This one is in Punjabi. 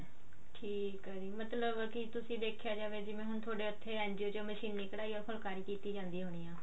ਠੀਕ ਆ ਜੀ ਮਤਲਬ ਕੀ ਤੁਸੀਂ ਦੇਖਿਆ ਜਿਵੇਂ ਹੁਣ ਥੋਡੇ ਉੱਥੇ NGO ਚ ਮਸ਼ੀਨੀ ਕਢਾਈ ਜਾਂ ਫੁਲਕਾਰੀ ਕੀਤੀ ਜਾਂਦੀ ਹੋਣੀ ਆ